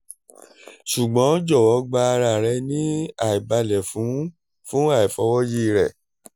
ṣugbọn jọwọ gba ara rẹ ni aibalẹ fun fun aifọwọyi rẹ